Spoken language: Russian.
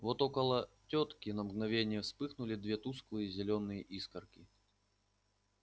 вот около тётки на мгновение вспыхнули две тусклые зелёные искорки